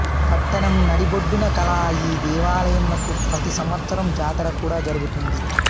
పట్టణం నడిబొడ్డున కల ఈ దేవాలయంనకు ప్రతి సంవత్సరం జాతర కూడా జర్గుతుంది